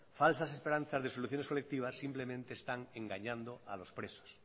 falsas esperanzas de soluciones colectivas simplemente están engañando a los presos